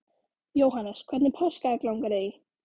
Jóhannes: Hvernig páskaegg langar þig í?